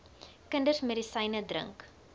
kinders medisyne drink